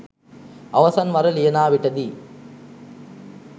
අවසන් වර ලියනා විටදී